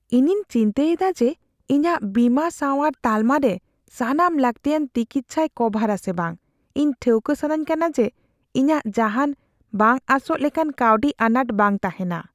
ᱤᱧᱤᱧ ᱪᱤᱱᱛᱟᱹᱭ ᱮᱫᱟ ᱡᱮ ᱤᱧᱟᱹᱜ ᱵᱤᱢᱟ ᱥᱟᱶᱟᱨ ᱛᱟᱞᱢᱟ ᱨᱮ ᱥᱟᱱᱟᱢ ᱞᱟᱹᱠᱛᱤᱭᱟᱱ ᱛᱤᱠᱤᱪᱪᱷᱟᱭ ᱠᱚᱵᱷᱟᱨᱼᱟ ᱥᱮ ᱵᱟᱝ ᱾ ᱤᱧ ᱴᱷᱟᱹᱠᱟᱹ ᱥᱟᱱᱟᱧ ᱠᱟᱱᱟ ᱡᱮ ᱤᱧᱟᱜ ᱡᱟᱦᱟᱱ ᱵᱟᱝ ᱟᱸᱥᱚᱜ ᱞᱮᱠᱟᱱ ᱠᱟᱹᱣᱰᱤ ᱟᱱᱟᱴ ᱵᱟᱝ ᱛᱟᱦᱮᱱᱟ ᱾